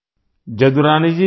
జదురాణి గారూ